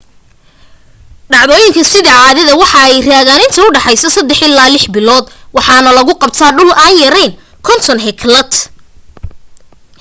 dhacdooyinka sida caadada waxa ay raagan inta udhaxeysa saddex ilaa lix bilood waxaana lagu qabta dhul aan ka yareyn 50 hektar